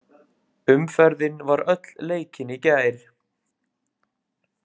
Umferðin var öll leikin í gær.